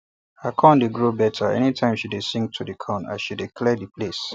her corn dey grow better anytime she dey sing to the corn as she dey clear the place